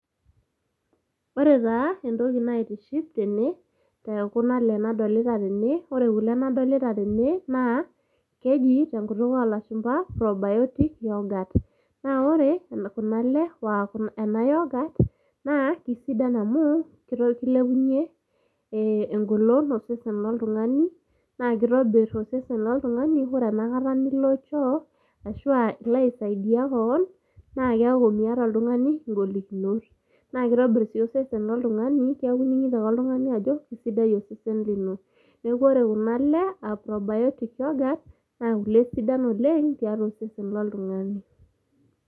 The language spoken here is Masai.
ore taa entoki naitiship tene te kuna le nadolita tene, ore kuna lkule nadolita tene naa keji te nkutuk oo lashumba naa keji probiotic yoghurt naa ore kuna le ena yoghurt naa keisiadan amuu keilepunye eng'olon osesen loltung'ani naa keitobir osesen loltung'ani ore ena kata nilo choo ahu ilo aisaidia kewon naa keaku miata otung'ani ingolikinot naa keitobir osesen loltung'ani keaku ining'ito ake oltung'ani ajo keisidai osesen lino neaku ore kuna le aa probiotic yoghurt naa kule sidan oleng' tiatua osesen loltung'ani